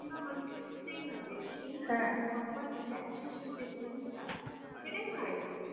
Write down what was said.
না মানুষ কে শুতেই হবে সেই proper relaxation যে ঘুম টা সেইটাই হয়না এখন